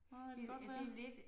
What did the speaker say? Nej det kan godt være